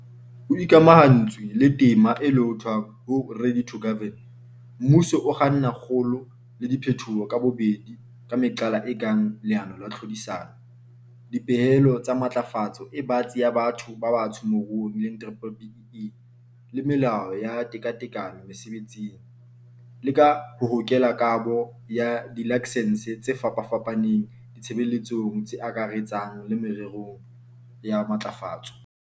Ho ikamahantswe le tema e lohothwang ho 'Ready to Govern', mmuso o kganna kgolo le diphetoho ka bobedi ka meqala e kang leano la tlhodisano, dipehelo tsa matlafatso e batsi ya batho ba batsho moruong, BBBEE, le melao ya tekatekano mesebetsing, le ka ho hokela kabo ya dilaksense tse fapafapaneng ditshebeletsong tse akaretsang le mererong ya matlafatso.